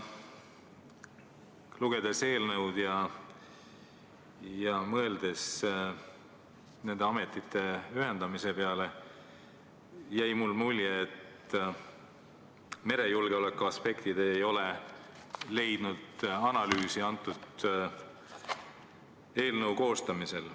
Lugedes eelnõu ja mõeldes nende ametite ühendamise peale, jäi mulle mulje, et merejulgeoleku aspektid ei ole eelnõu koostamisel analüüsimist leidnud.